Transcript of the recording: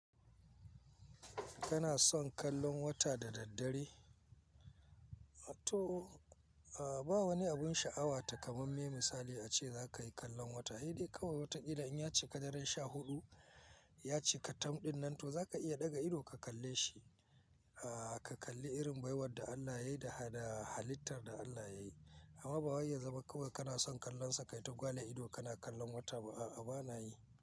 Kana son kallon wata da daddare? To, a'a ba wani abun sha'awa takamamme misali ace za ka yi kallon wata. Ai dai kawai wata irin in ya cika daren sha huɗu, ya cika tam ɗin nan to za ka iya ɗaga ido ka kalle shi. A'a ka kalli irin baiwar da Allah ya yi da halittar da Allah ya yi. Amma ba waye zama kawai kana son kallon sa ka yi ta gwale ido kana kallon wata ba. A'a ba na yi.